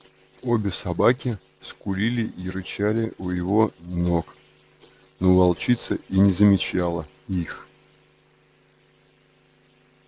обе собаки скулили и рычали у его ног но волчица и не замечала их